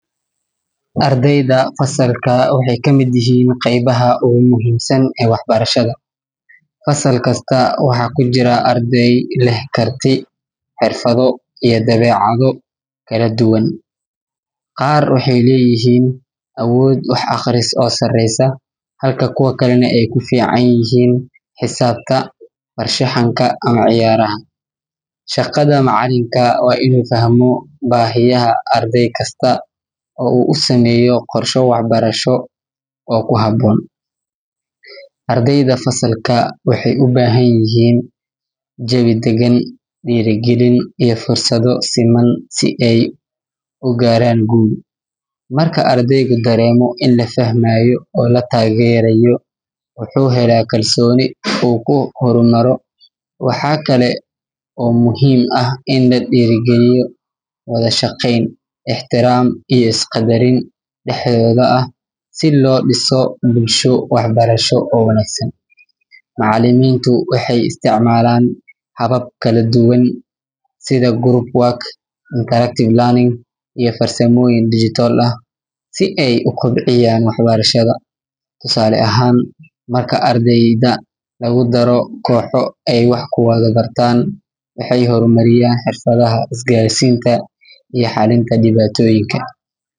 Ardeyda fasalka waxee ka miid yihin qebaha ogu muhiimsan ee wax barashaada, fasalka kasta waxaa kujiraa ardey leh karti xirfaado iyo dawecadho kala duwan, qar waxee leyihin awod wax aqris ah oo sareysa halka kuwa kale ee ku fican yihin xisabta ama farshaxanka gar ah shaqada macalinka waa in u fahmo bahiyaha ardey kasta oo u sameyo farsama kasta, marka ardeygu daremo in la fahmo oo la tagero wuxuu hela kalsoni in la dira galiyo wadha shaqen daxdedha ah, macaliminta waxee sameyan habab kala duwan sitha group working ama farsamoyin digital ah si ee u kobciyan wax barashaada faida ahan marki lagudaro koxo ee wax ku bartan xirfaadaha isgar sinta iyo diwatoyinka.